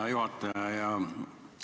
Hea juhataja!